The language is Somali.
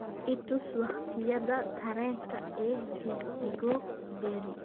i tus waqtiyada tareenka ee Chicago berri